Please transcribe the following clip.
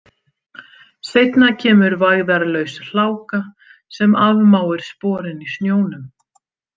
Seinna kemur vægðarlaus hláka sem afmáir sporin í snjónum.